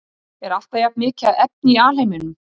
Er alltaf jafnmikið af efni í alheiminum?